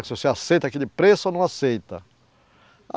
Se você aceita aquele preço ou não aceita.